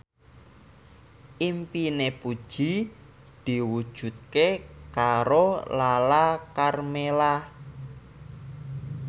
impine Puji diwujudke karo Lala Karmela